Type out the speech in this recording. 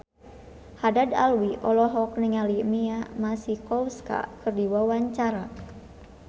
Haddad Alwi olohok ningali Mia Masikowska keur diwawancara